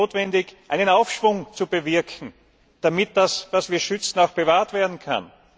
Ist es nicht notwendig, einen Aufschwung zu bewirken, damit das, was wir schützen, auch bewahrt werden kann?